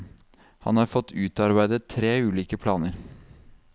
Han har fått utarbeidet tre ulike planer.